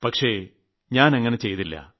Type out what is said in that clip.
പക്ഷേ ഞാനങ്ങനെ ചെയ്തില്ല